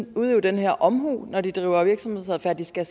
udøve den her omhu når de driver virksomhed de skal